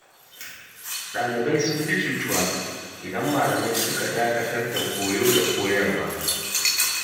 Dalibai sun fi cutuwa, idan malamai suka dakatar da koyo da koyarwa.